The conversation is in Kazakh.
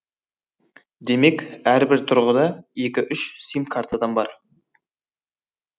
демек әрбір тұрғында екі үш сим картадан бар